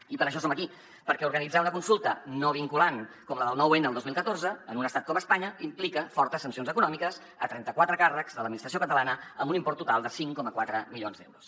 i per això som aquí perquè organitzar una consulta no vinculant com la del nou n el dos mil catorze en un estat com espanya implica fortes sancions econòmiques a trenta quatre càrrecs de l’administració catalana amb un import total de cinc coma quatre milions d’euros